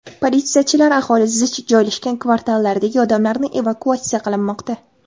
Politsiyachilar aholi zich joylashgan kvartallardagi odamlarni evakuatsiya qilinmoqda.